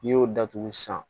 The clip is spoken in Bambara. N'i y'o datugu san